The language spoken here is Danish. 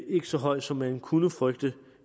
ikke så høj som man kunne frygte